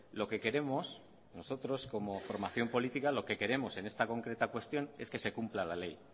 lo que queremos nosotros como formación política lo que queremos en esta concreta cuestión es que se cumpla la ley